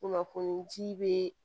Kunnafoni ji be